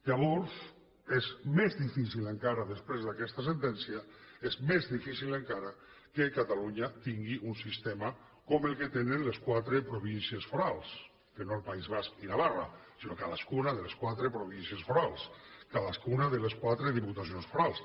llavors és més difícil encara després d’aquesta sentència és més difícil encara que catalunya tingui un sistema com el que tenen les quatre províncies forals que no el país basc i navarra sinó cadascuna de les quatre províncies forals cadascuna de les quatre diputacions forals